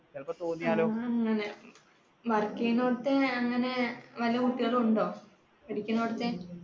ചിലപ്പോൾ തോന്നിയാലോ, work ചെയ്യുന്ന അടുത്തെ അങ്ങനെ വെല്ല കുട്ടികളും ഉണ്ടോ, പഠിക്കണോടത്തെ